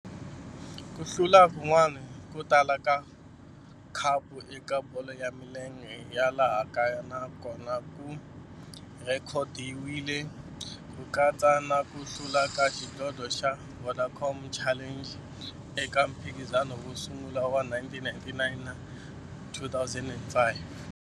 Ku hlula kun'wana ko tala ka khapu eka bolo ya milenge ya laha kaya na kona ku rhekhodiwile, ku katsa na ku hlula ka xidlodlo xa Vodacom Challenge eka mphikizano wo sungula wa 1999 na 2005.